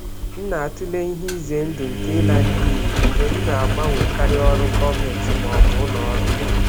M na-atụle ihe ize ndụ nke ịla n'iyi mgbe m na-agbanwekarị ọrụ gọọmentị ma ọ bụ ụlọ ọrụ.